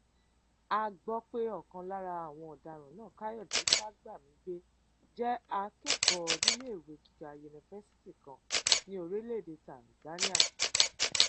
a gbọ pé ọkan lára àwọn ọdaràn náà káyọdé fagbamigbe jẹ akẹkọọ níléèwé gíga yunifásitì kan ní orílẹèdè tanzania